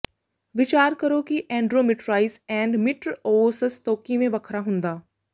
ਵਿਚਾਰ ਕਰੋ ਕਿ ਐਂਂਡ੍ਰੋਮਿਟ੍ਰਾਈਸ ਐਂਂਡ ੋੋਮਿਟ੍ਰ ੀਓਿਸਸ ਤੋਂ ਕਿਵੇਂ ਵੱਖਰਾ ਹੁੰਦਾ